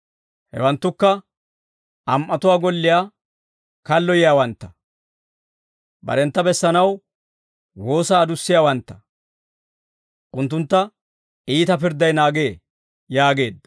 Hewanttukka am"atuwaa golliyaa kalloyiyaawantta; barentta bessanaw woosaa adussiyaawantta; unttuntta iita pirdday naage» yaageedda.